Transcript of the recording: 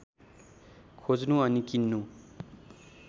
खोज्नु अनि किन्नु